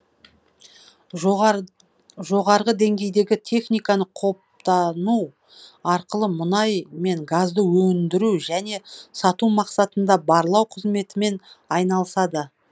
жоғарғы деңгейдегі техниканы қопдану арқылы мұнай мен газды өндіру және сату мақсатында барлау қызметімен айналысады